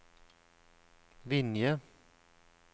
Vinje